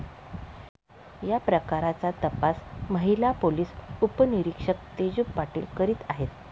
याप्रकरणाचा तपास महिला पोलिस उपनिरीक्षक तेजू पाटील करत आहेत.